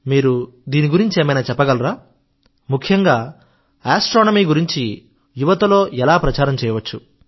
మీరు దీని గురించి ఏమైనా చెప్పగలరా ముఖ్యంగా ఆస్ట్రోనమీ గురించి యువతలో ఎలా ప్రచారం చేయవచ్చు